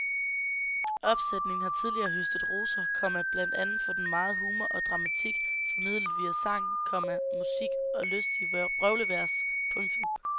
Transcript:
Opsætningen har tidligere høstet roser, komma blandt andet for den megen humor og dramatik formidlet via sang, komma musik og lystige vrøvlevers. punktum